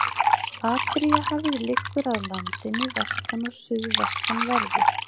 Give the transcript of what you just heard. Adríahafið liggur að landinu vestan- og suðvestanverðu.